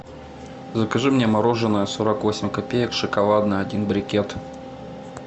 закажи мне мороженое сорок восемь копеек шоколадное один брикет